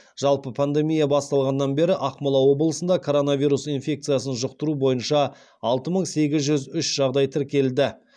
жалпы пандемия басталғаннан бері ақмола облысында коронавирус инфекциясын жұқтыру бойынша алты мың сегіз жүз үш жағдай тіркелді